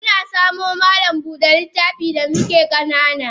Muna samo malam Buda littafi da muke kanana.